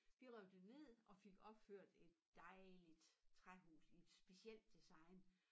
Vi rev det ned og fik opført et dejligt træhus i et specielt design